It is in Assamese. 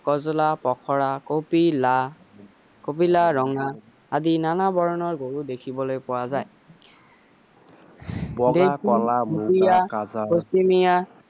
কজলা পখৰা কপিলা কপিলা ৰঙা আদি নানা বৰণৰ গৰু দেখিবলৈ পোৱা যায় বগা কলা